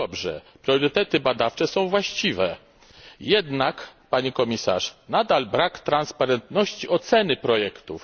To dobrze. Priorytety badawcze są właściwe. Jednak, Pani Komisarz, nadal brak transparentności oceny projektów.